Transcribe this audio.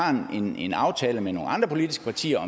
en aftale med nogle andre politiske partier